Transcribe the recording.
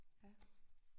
Ja